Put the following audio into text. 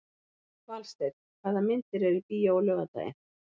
Valsteinn, hvaða myndir eru í bíó á laugardaginn?